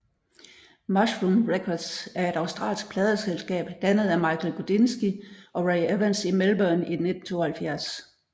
Mushroom Records er et australsk pladeselskab dannet af Michael Gudinski og Ray Evans i Melbourne i 1972